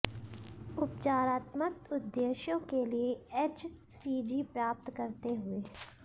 उपचारात्मक उद्देश्यों के लिए एचसीजी प्राप्त करते हुए